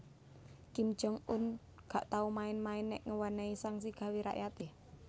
Kim Jong Un gak tau main main nek ngewenehi sanksi gawe rakyate